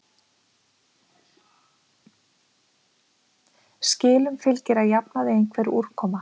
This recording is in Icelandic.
Skilum fylgir að jafnaði einhver úrkoma.